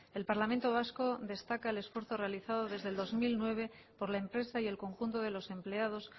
el parlamento vasco destaca el esfuerzo realizado desde el dos mil nueve por la empresa y el conjunto de los empleados